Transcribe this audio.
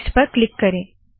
next पर click करे